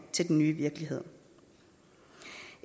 til den nye virkelighed